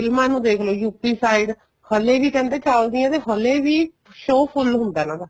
ਫ਼ਿਲਮਾ ਨੂੰ ਦੇਖਲੋ UP side ਹਲੇ ਵੀ ਕਹਿੰਦੇ ਚੱਲਦੀਆਂ ਤੇ ਹਲੇ ਵੀ show ਫੁੱਲ ਹੁੰਦਾ ਇਹਨਾ ਦਾ